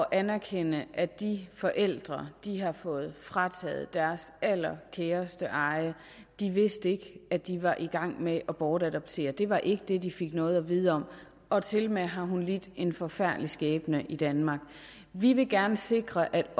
anerkende at de forældre har fået frataget deres allerkæreste eje de vidste ikke at de var i gang med at bortadoptere det var ikke det de fik noget at vide om og tilmed har hun lidt en forfærdelig skæbne i danmark vi vil gerne sikre at